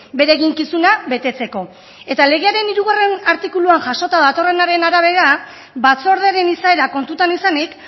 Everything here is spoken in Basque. bere eginkizuna betetzeko eta legearen hirugarrena artikuluan jasota datorrenaren arabera batzordearen izaera kontutan izanik